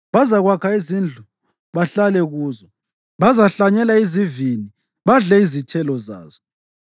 Bazakwakha izindlu bahlale kuzo; bazahlanyela izivini badle izithelo zazo.